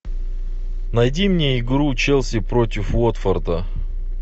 найди мне игру челси против уотфорда